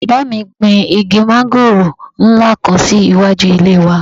Bàbá mi gbin igi mángòrò nla kan si iwaju ile wà.